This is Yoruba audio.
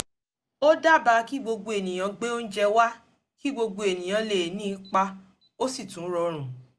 ó dábàá kí gbogbo ènìyàn gbé óúnjẹ wa kí gbogbo ènìyàn lè ní ipa ó sì tún rọrun